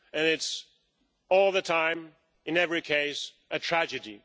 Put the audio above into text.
It's all the time, in every case, a tragedy.